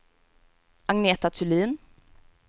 Agneta Thulin